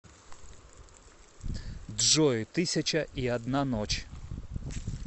джой тысяча и одна ночь